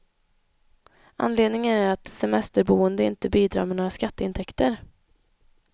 Anledningen är att de semesterboende inte bidrar med några skatteintäkter.